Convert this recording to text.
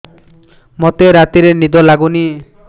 ମୋତେ ରାତିରେ ନିଦ ଲାଗୁନି